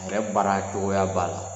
A yɛrɛ baara cogoya b'a la.